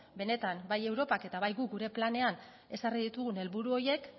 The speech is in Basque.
benetan bai europak eta bai guk gure planean ezarri ditugun helburu horiek